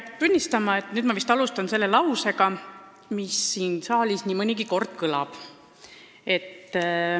Peab tunnistama, et nüüd ma alustan lausega, mis siin saalis nii mõnigi kord kõlab.